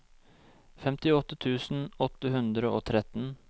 femtiåtte tusen åtte hundre og tretten